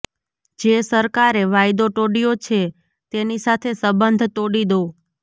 જે સરકારે વાયદો તોડ્યો છે તેની સાથે સંબંધ તોડી દો